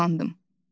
Çox utandım.